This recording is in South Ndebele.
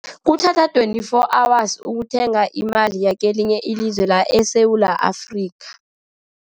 Kuthatha twenty-four hours ukuthenga imali yekelinye ilizwe la eSewula Afrika.